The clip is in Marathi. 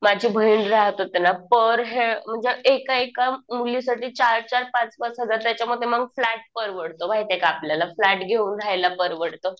माझी बहीण राहात होती ना. पर हेड म्हणजे एका एका मुलींसाठी चार चार पाच पाच हजार. त्याच्यामध्ये मग फ्लॅट परवडतो. माहितीये का. आपल्याला फ्लॅट घेऊन राहायला परवडतं.